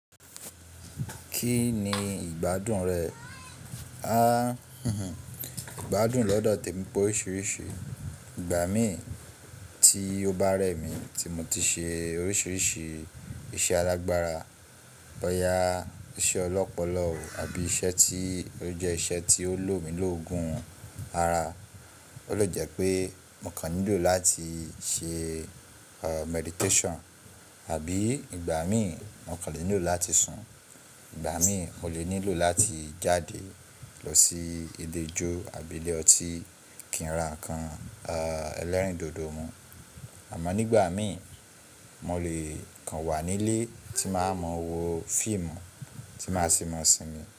Kí ni ìgbádùn rẹ? Ìgbádùn lọ́dọ̀ tè mi pé oríṣiríṣi. Ìgbà mí tí ó bá rẹ̀ mí tí mo ti ṣe oríṣiríṣi iṣẹ́ alágbára, bọ́ya iṣẹ́ ọlọ́pọlọ àbí iṣẹ́ tí ó jẹ́ iṣẹ́ tí ó lò mi lógun ara. Ó lè jẹ́ pé mo kàn nílò láti ṣe meditation àbí ìgbà mí mo kàn lè nílò láti sùn. Ìgbà mí mo lè nílò láti jáde lọ sí ilé ijó àbí ilé ọtí kí n ra nǹkan ẹlẹ́rìndòdò mu. Àmọ́ nígbà mí mo lè kàn wà nílé tí màá mọ wo fíìmù tí màá sì mọ̀ọ́ sinmi.